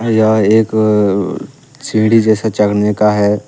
यह एक सीढ़ी जैसा चडऩे का है।